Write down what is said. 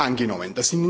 angenommen.